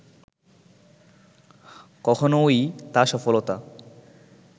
কখনওই তা সফলতা